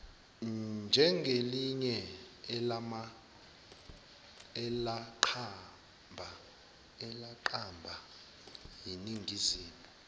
njengelinye elaqamba yiningizimu